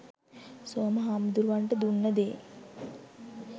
සෝම හමුදුරුවොන්ට දුන්නේ දේ